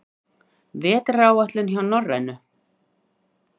Vetraráætlun hjá Norrænu